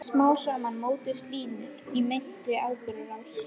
Smám saman mótuðust línur í meintri atburðarás.